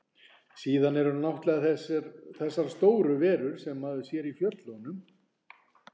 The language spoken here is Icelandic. Síðan eru náttúrlega þessar stóru verur sem maður sér í fjöllunum.